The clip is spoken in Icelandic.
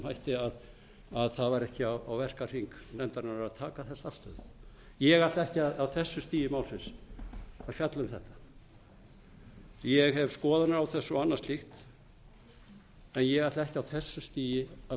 þessum hætti að það var ekki á verkahring nefndarinnar að taka þessa afstöðu ég ætla ekki á þessu stigi málsins að fjalla um þetta ég hef skoðanir á þessu og annað slíkt en ég ætla ekki á þessu stigi að